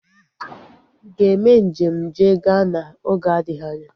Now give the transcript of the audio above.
Ị ga-eme njem jee Ghana oge adịghị anya?